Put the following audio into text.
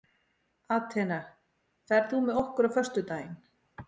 Atena, ferð þú með okkur á föstudaginn?